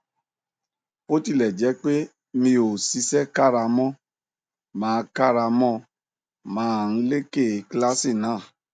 bó tilẹ jẹ pé mi ò ṣiṣẹ kára mo máa kára mo máa ń leké kíláàsì náà